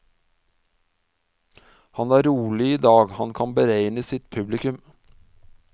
Han er rolig i dag, han kan beregne sitt publikum.